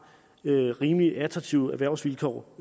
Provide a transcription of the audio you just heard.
rimelig attraktive erhvervsvilkår